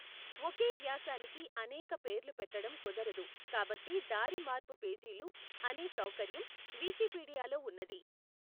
ఒకే వ్యాసానికి అనేక పేర్లు పెట్టడం కుదరదు కాబట్టి దారిమార్పు పేజీలు అనే సౌకర్యం వికీపీడియాలో ఉన్నది.